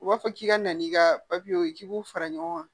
U b'a fɔ k'i ka na n'i ka papiyew ye k'i b'u fara ɲɔgɔn kan